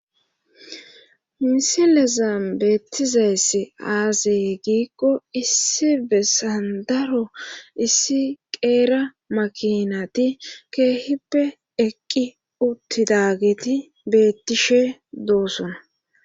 misile beettizays aazey giikko issi bessandaro issi qeera makinati keehippe eqqi uttidageti bettishe doosona